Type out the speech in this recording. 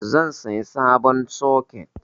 Zan siya sabon soket